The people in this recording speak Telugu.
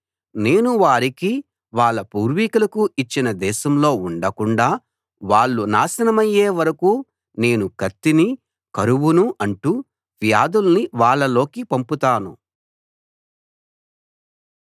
నేను వారికీ వాళ్ళ పూర్వీకులకూ ఇచ్చిన దేశంలో ఉండకుండా వాళ్ళు నాశనమయ్యే వరకూ నేను కత్తినీ కరువునూ అంటు వ్యాధుల్నీ వాళ్లలోకి పంపుతాను